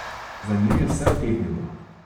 Za njim je vse utihnilo.